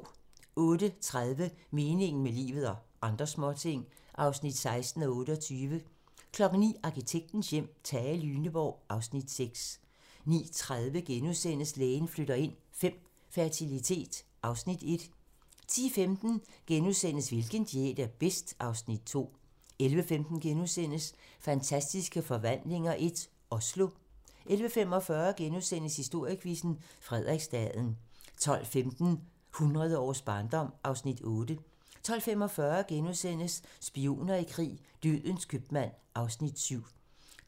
08:30: Meningen med livet - og andre småting (16:28) 09:00: Arkitektens hjem: Tage Lyneborg (Afs. 6) 09:30: Lægen flytter ind V - fertilitet (Afs. 1)* 10:15: Hvilken diæt er bedst? (Afs. 2)* 11:15: Fantastiske Forvandlinger I - Oslo * 11:45: Historiequizzen: Frederiksstaden * 12:15: Hundrede års barndom (Afs. 8) 12:45: Spioner i krig: Dødens købmand (Afs. 7)*